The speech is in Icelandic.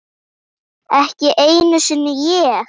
Ekki einu sinni ég!